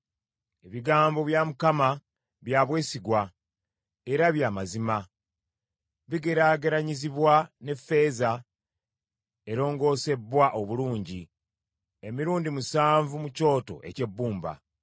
Ebigambo bya Mukama bya bwesigwa era bya mazima. Bigeraageranyizibwa n’effeeza erongoosebbwa obulungi emirundi musanvu mu kyoto eky’ebbumba.